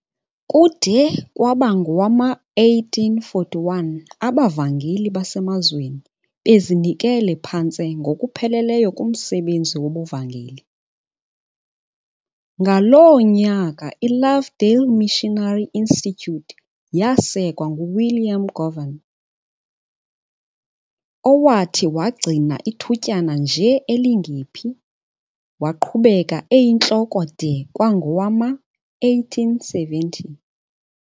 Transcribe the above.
Kude kwaba ngowama1841 abavangeli basemazweni babezinikele phantse ngokupheleleyo kumsebenzi wobuvangeli, ngaloo nyaka iLovedale Missionary Institute yasekwa nguWilliam Govan, owathi, wagcina ithutyana nje elingephi, waqhubeka eyintloko de kwangowama1870.